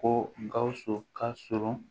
Ko gawusu ka surun